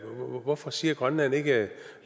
hvorfor siger grønland ikke lad